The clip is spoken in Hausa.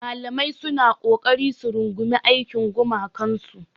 Malamai suna ƙoƙari su rungumi aikin gumakansu.